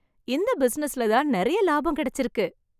இந்த பிசினஸ்ல தான் நிறைய லாபம் கிடைச்சிருக்கு.